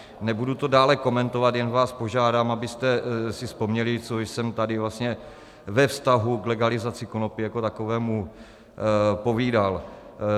Nebudu to dále komentovat, jen vás požádám, abyste si vzpomněli, co jsem tady vlastně ve vztahu k legalizaci konopí jako takovému povídal.